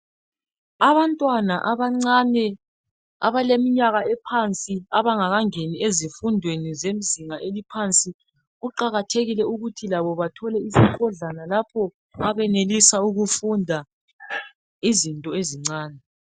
Abantwana abancane abaleminyaka ephansi abangakangeni ezifundweni zezingeni eliphansi kuqakathekile ukuthi labo bathole isikodlana lapho abenelisa ukufunda izinto ezincane.